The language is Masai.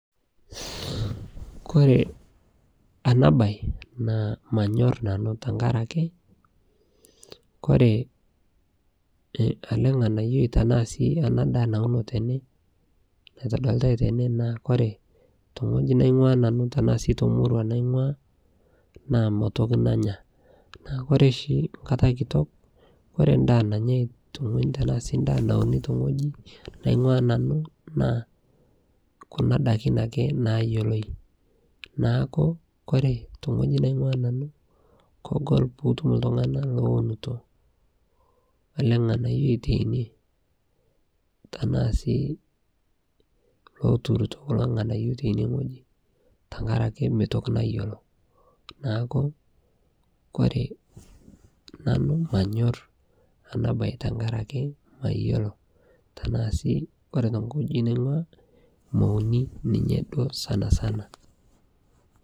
kore anaa bai naa manyor nanuu tankarakee kore alee nganayoi tanaa sii ana daa naunoo tenee naitodolitai tene naa kore te nghoji nangua nanuu tanaa sii te murua naingua naa meitoki nanyaa naa kore shi nkata kitok kore ndaa nanyai tanaa sii ndaa naunii te nghoji naingua nanuu naa kuna dakin akee nayeloi naaku kore te nghoji naingua nanuu kogol piitum ltungana lounuto alee nghanayoi teinie tanaa sii loturuto kulo nghanayo teinie nghoji tankarakee meitoki nayoloo naaku kore nanuu manyor anaa bai tankarakee mayoloo tanaa sii kore tenghoji naingua meunii ninyee duo sanasana